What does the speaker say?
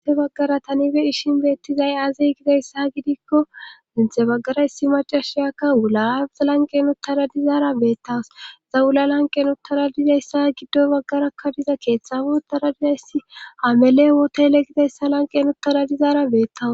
Hinte baggara tanibe ishin beettizay aazey gidayssa gidikko dinthe baggaraysi macashiyakka wulaauzalanqenuttara dizaara beettawas zawula lanqe n uttara dizayssa giddo baggarakkadiza keeththafu utara dizayssi hamele wooteyle gizayssa lanqe n uttara dizaara beettawas